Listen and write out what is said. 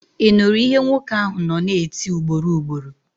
Ị nụrụ ihe nwoke ahụ nọ na-eti ugboro ugboro?